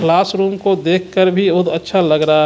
Class room को देख कर भी बोहोत अच्छा लग रहा है.